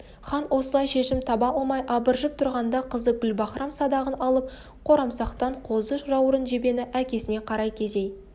хан осылай шешім таба алмай абыржып тұрғанында қызы гүлбаһрам садағын алып қорамсақтан қозы жаурын жебені әкесіне қарай кезей